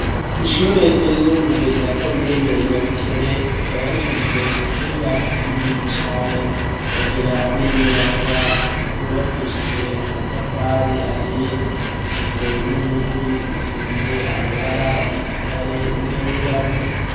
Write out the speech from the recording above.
Ishure ry'isumbuye rya komine nyabikere rikaba rifise ikibuga kinini cane ikagira n'inyubakwa zubakishijwe amatafari ahiye zifise n'inkingi zisize amabara y'igitare nayirabura.